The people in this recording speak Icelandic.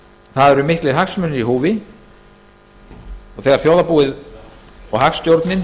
það eru miklir hagsmunir í húfi og þegar þjóðarbúið og